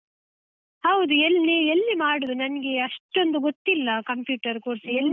ಹೌದು ಎಲ್ಲಿ? ಎಲ್ಲಿ ಮಾಡುದು ನನ್ಗೆ ಅಷ್ಟೊಂದು ಗೊತ್ತಿಲ್ಲ computer course .